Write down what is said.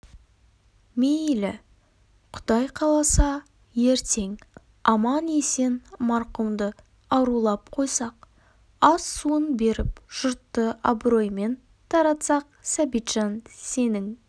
мейлі құдай қаласа ертең аман-есен марқұмды арулап қойсақ ас суын беріп жұртты абыроймен таратсақ сәбитжан сенің